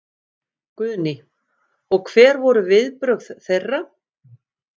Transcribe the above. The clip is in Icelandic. Guðný: Og hver voru viðbrögð þeirra?